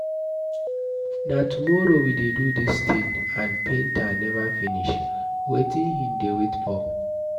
Na tomorrow we dey do dis thing and painter never finish. Wetin he dey wait for?